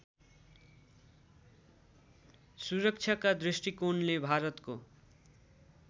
सुरक्षाका दृष्टिकोणले भारतको